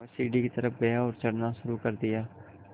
वह सीढ़ी की तरफ़ गया और चढ़ना शुरू कर दिया